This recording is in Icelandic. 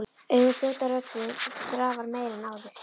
Augun fljóta, röddin drafar meira en áður.